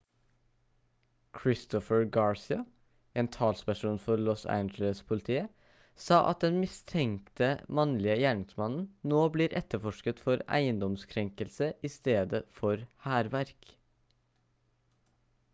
christopher garcia en talsperson for los angeles-politiet sa at den mistenkte mannlige gjerningsmannen nå blir etterforsket for eiendomskrenkelse i stedet for hærverk